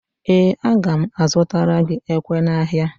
Ee, aga m azụtara gị ekwe n'ahịa